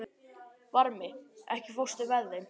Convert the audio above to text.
Varmi, ekki fórstu með þeim?